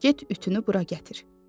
Get ütünü bura gətir.